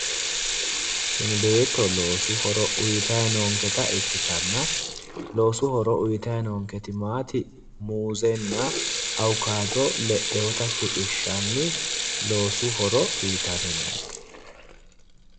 Tini beetto loosu horo uugitayi noonketa ikkitanna loooasu horo uuyitayi noonketi maati, muuzenna awukaato le'ewoota shiqishshanni loosu horo uuyitanni noonke.